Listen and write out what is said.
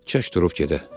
Kaş durub gedə.